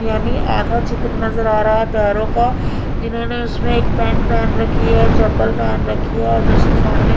यानि आधा चित्र नज़र आ रहा है पैरो का जिन्होंने उसमें एक पैंट पहेन राखी है चप्पल पहेन रखी है और उसके सामने--